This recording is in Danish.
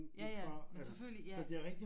Ja ja men selvfølgelig ja